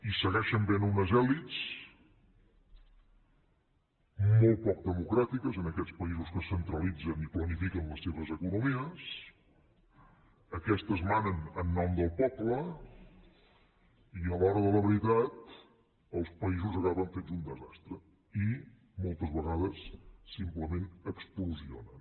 hi segueix havent unes elits molt poc democràtiques en aquests països que centralitzen i planifiquen les seves economies aquestes manen en nom del poble i a l’hora de la veritat els països acaben fets un desastre i moltes vegades simplement explosionen